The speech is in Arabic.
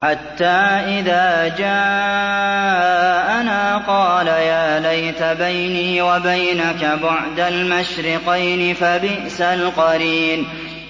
حَتَّىٰ إِذَا جَاءَنَا قَالَ يَا لَيْتَ بَيْنِي وَبَيْنَكَ بُعْدَ الْمَشْرِقَيْنِ فَبِئْسَ الْقَرِينُ